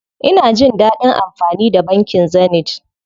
Ina jin dadin amfani da bankin Zenith.